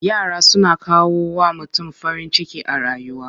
Yara suna kawo wa mutum farin ciki a rayuwa.